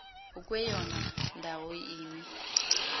ukweyona ndawo imi